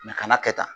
kana kɛ tan